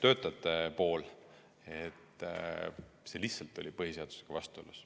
töötajad, väga veendunult, et see oli lihtsalt põhiseadusega vastuolus.